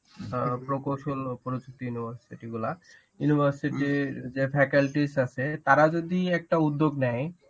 প্রকৌশল পরিচিতি সেটিগুলা university র যে faculties আছে তারা যদি একটা উদ্যোগ নেয়,